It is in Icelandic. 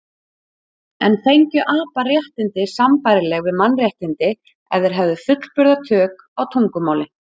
En fengju apar réttindi sambærileg við mannréttindi ef þeir hefðu fullburða tök á tungumáli?